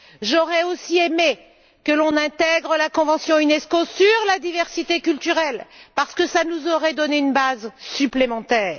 J'aurais aussi aimé que l'on intègre la convention sur la diversité culturelle de l'Unesco, parce que cela nous aurait donné une base supplémentaire.